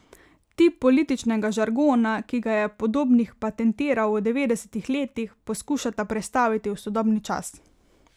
Tip političnega žargona, ki ga je Podobnik patentiral v devetdesetih letih, poskušata prestaviti v sodobni čas.